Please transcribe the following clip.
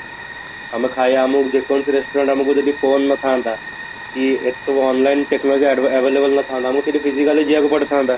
ଆମେ ଖାଇବା ଆମକୁ ଯେ କୌଣସି restaurant ଆମକୁ ଯଦି phone ନ ଥାଆନ୍ତା କି ଏସବୁ online technology available ନ ଥାଆନ୍ତା ଆମକୁ ସେଠି physically ଯିବାକୁ ପଡ଼ିଥାନ୍ତା